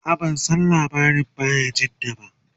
a'a ban San labarin bayajidda ba